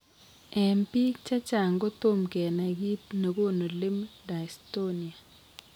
En biik chechang kotom kenai kiit negonu limb dystonia